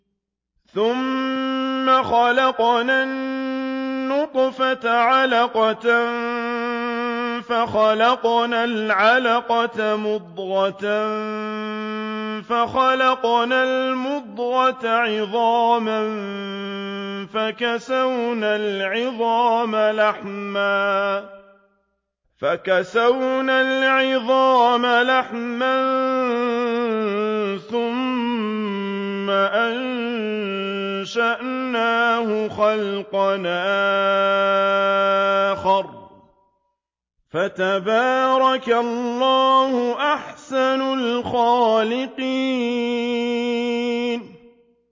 ثُمَّ خَلَقْنَا النُّطْفَةَ عَلَقَةً فَخَلَقْنَا الْعَلَقَةَ مُضْغَةً فَخَلَقْنَا الْمُضْغَةَ عِظَامًا فَكَسَوْنَا الْعِظَامَ لَحْمًا ثُمَّ أَنشَأْنَاهُ خَلْقًا آخَرَ ۚ فَتَبَارَكَ اللَّهُ أَحْسَنُ الْخَالِقِينَ